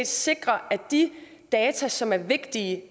sikrer at de data som er vigtige